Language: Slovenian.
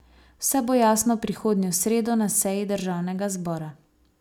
Vse bo jasno prihodnjo sredo na seji državnega zbora.